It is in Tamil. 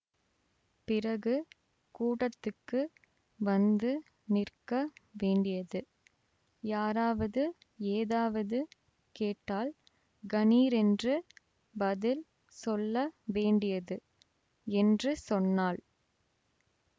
பிறகு கூடத்துக்கு வந்து நிற்க வேண்டியது யாராவது ஏதாவது கேட்டால் கணீரென்று பதில் சொல்ல வேண்டியது என்று சொன்னாள்